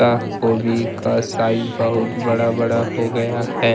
यह गोभी का साइज बहुत बड़ा बड़ा हो गया है।